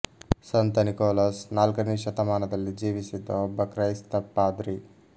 ಸಂತ ನಿಕೋಲಾಸ್ ನಾಲ್ಕನೆ ಶತಮಾನದಲ್ಲಿ ಜೀವಿಸಿದ್ದ ಒಬ್ಬ ಕ್ರೈಸ್ತ ಪಾದ್ರಿ